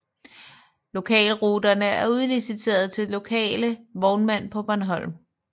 Lokalruterne er udliciterede til lokale vognmænd på Bornholm